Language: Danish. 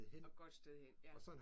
Og et godt sted hen ja